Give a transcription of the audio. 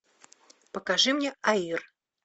покажи мне аир